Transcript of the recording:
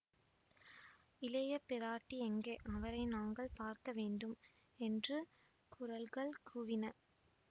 இளைய பிராட்டி எங்கே அவரை நாங்கள் பார்க்க வேண்டும் என்று குரல்கள் கூவின